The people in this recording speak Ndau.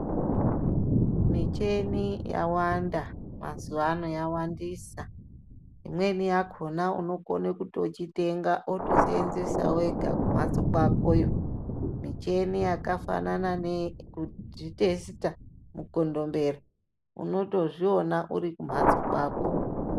Micheni yawanda mazuwano yawandisa imweni yakona unokone kuchitenga otoseenzesa wega kumhatso kwakoyo, micheni yakafanana neyekuzvi testa mukondombera unotozviona urikumhatso kwako.